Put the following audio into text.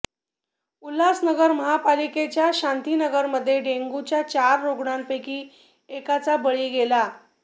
उल्हासनगर महापालिकेच्या शांतीनगरमध्ये डेंग्यूच्या चार रुग्णांपैकी एकाचा बळी गेला